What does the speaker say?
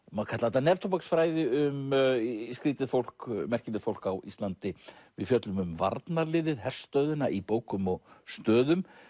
má kalla þetta um skrýtið fólk merkilegt fólk á Íslandi við fjöllum um varnarliðið herstöðina í bókum og stöðum